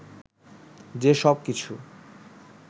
যে সব কিছু